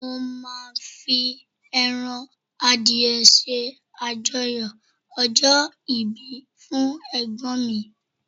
mo ma fi eran adìye se ajoyọ ọjọ ibi fún egbon mi